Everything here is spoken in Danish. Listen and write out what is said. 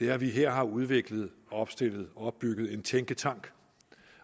er at vi her har udviklet opstillet og opbygget en tænketank